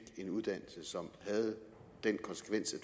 en uddannelse som havde den konsekvens